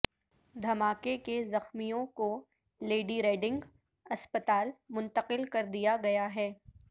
دھماکے کے زخمیوں کو لیڈی ریڈنگ اسپتال منتقل کردیا گیا ہے